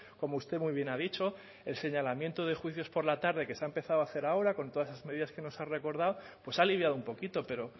como usted muy bien ha dicho el señalamiento de juicios por la tarde que se ha empezado a hacer ahora con todas esas medidas que nos ha recordado pues ha aliviado un poquito pero